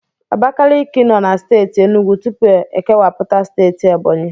Abakaliki nọ na Steeti Enugwu tupu ekewapụta steeti Ebọnyi.